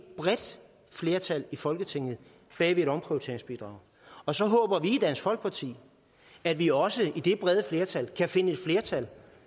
bredt flertal i folketinget bag et omprioriteringsbidrag og så håber vi i dansk folkeparti at vi også i det brede flertal kan finde et flertal